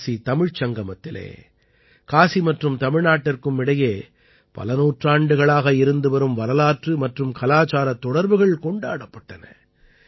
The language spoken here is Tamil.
காசி தமிழ்ச் சங்கமத்திலே காசி மற்றும் தமிழ்நாட்டிற்கும் இடையே பல நூற்றாண்டுகளாக இருந்து வரும் வரலாற்று மற்றும் கலாச்சாரத் தொடர்புகள் கொண்டாடப்பட்டன